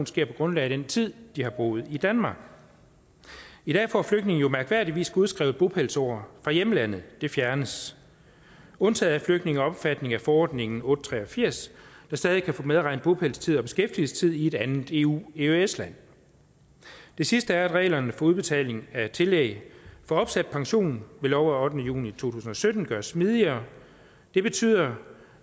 sker på grundlag af den tid de har boet i danmark i dag får flygtninge jo mærkværdigvis godskrevet bopælsår fra hjemlandet og det fjernes undtaget er flygtninge omfattet af forordningen otte hundrede og tre og firs der stadig kan få medregnet bopælstid og beskæftigelsestid i et andet eueøs land det sidste er at reglerne for udbetaling af tillæg for opsat pension ved lov af ottende juni to tusind og sytten gøres smidigere det betyder